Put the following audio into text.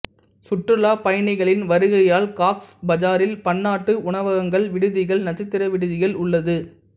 சுற்றுலாப் பயணிகளின் வருகையால் காக்ஸ் பஜாரில் பன்னாட்டு உணவகங்கள் விடுதிகள் நட்சத்திர விடுதிகள் உள்ளது